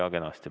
Jah, kenasti.